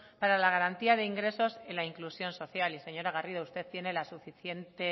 para la garantía de ingresos y la inclusión social señora garrido usted tiene la suficiente